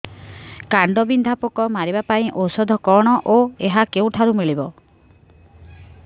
କାଣ୍ଡବିନ୍ଧା ପୋକ ମାରିବା ପାଇଁ ଔଷଧ କଣ ଓ ଏହା କେଉଁଠାରୁ ମିଳିବ